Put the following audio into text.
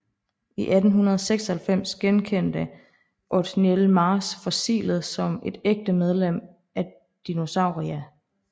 I 1896 genkendte Othniel Marsh fossilet som et ægte medlem af Dinosauria